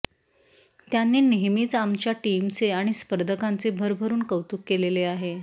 त्यांनी नेहमीच आमच्या टीमचे आणि स्पर्धकांचे भरभरून कौतुक केलेले आहे